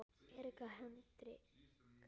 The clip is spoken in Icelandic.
Erika Hendrik